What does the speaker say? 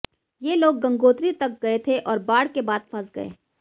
ये लोग गंगोत्री तक गए थे और बाढ़ के बाद फंस गए